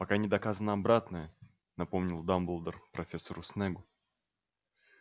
пока не доказано обратное напомнил дамблдор профессору снеггу